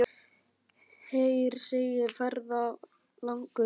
Heyr, segir ferðalangur.